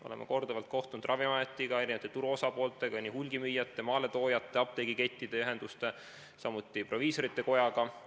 Oleme korduvalt kohtunud Ravimiametiga, turu osapooltega, hulgimüüjatega, maaletoojatega, apteegikettide ühendustega, samuti proviisorite kojaga.